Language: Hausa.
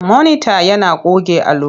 Monita yana goge allo.